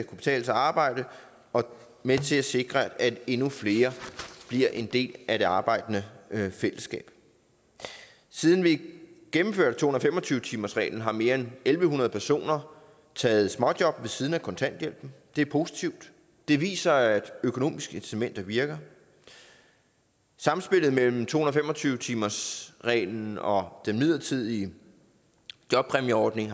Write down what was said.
kan betale sig at arbejde og med til at sikre at endnu flere bliver en del af det arbejdende fællesskab siden vi gennemførte to hundrede og fem og tyve timersreglen har mere end en tusind en hundrede personer taget småjob ved siden af kontanthjælpen det er positivt det viser at økonomiske incitamenter virker samspillet mellem to hundrede og fem og tyve timersreglen og den midlertidige jobpræmieordning